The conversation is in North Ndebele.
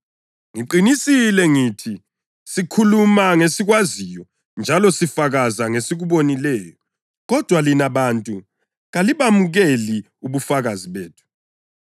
Ngiqinisile ngithi sikhuluma ngesikwaziyo njalo sifakaza ngesikubonileyo, kodwa lina bantu kalibamukeli ubufakazi bethu.